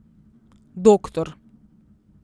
Doktor.